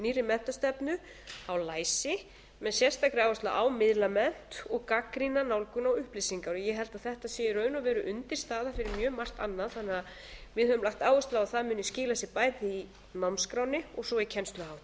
nýrri menntastefnu á læsi með sérstakri áherslu á miðlamennt og gagnrýna nálgun á upplýsingar ég held að þetta sé í raun og veru undirstaða fyrir mjög margt annað þannig að við höfum lagt áherslu á að það muni skila sér bæði í námskránni og svo